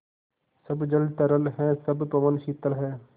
सब जल तरल है सब पवन शीतल है